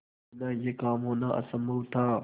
बिना यह काम होना असम्भव था